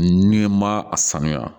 N'i ma a sanuya